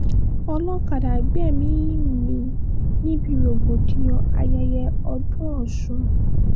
olọ́kadà gbẹ̀mí-ín mi níbi rògbòdìyàn ayẹyẹ ọdún ọ̀sùn